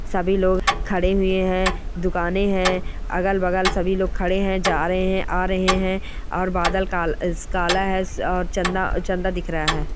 सभी लोग खड़े हूए है दुकाने हैं अगल-बगल सभी लोग खड़े हैं जा रहे हैं आ रहे हैं और बादल काल काला है और चंदा चंदा दिख रहा है।